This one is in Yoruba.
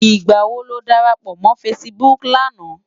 Nigbá wó ló dárápò mò fãsibúk làná?